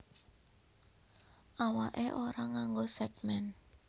Awaké ora nganggo sègmèn